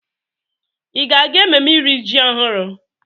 Ị ga-aga ememme iri ji ọhụrụ?